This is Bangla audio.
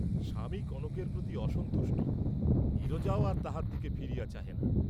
স্বামী কনকের প্রতি অসন্তুষ্ট, নীরজাও আর তাহার দিকে ফিরিয়া চাহে না।